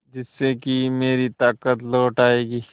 जिससे कि मेरी ताकत लौट आये